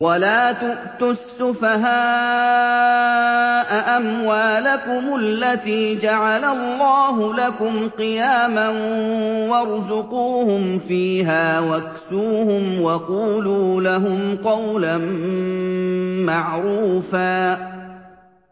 وَلَا تُؤْتُوا السُّفَهَاءَ أَمْوَالَكُمُ الَّتِي جَعَلَ اللَّهُ لَكُمْ قِيَامًا وَارْزُقُوهُمْ فِيهَا وَاكْسُوهُمْ وَقُولُوا لَهُمْ قَوْلًا مَّعْرُوفًا